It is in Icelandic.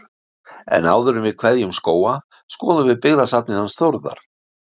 En áður en við kveðjum Skóga skoðum við byggðasafnið hans Þórðar.